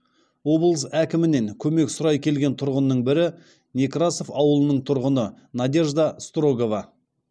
облыс әкімінен көмек сұрай келген тұрғынның бірі некрасов ауылының тұрғыны надежда строгова